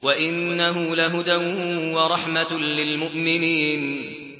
وَإِنَّهُ لَهُدًى وَرَحْمَةٌ لِّلْمُؤْمِنِينَ